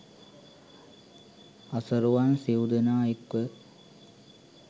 අසරුවන් සිව් දෙනා එක්ව